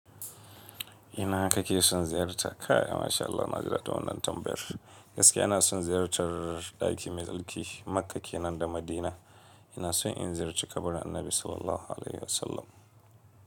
Ina kake son ziyarta? Kai Masha Allah Naji daɗin wannan tambayar. Gaskiya ina son ziyartar ɗaki mai tsarki Makka kenan da Madina. Ina son in ziyarci kabarin Annabi Sallallahu Alaihi Wasallam.